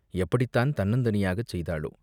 எப்படித்தான் தன்னந் தனியாகச் செய்தாளோ?